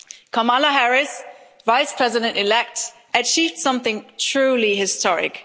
Kamala Harris, Vice President elect, achieved something truly historic.